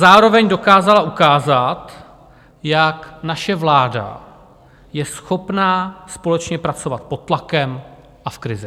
Zároveň dokázala ukázat, jak naše vláda je schopná společně pracovat pod tlakem a v krizi.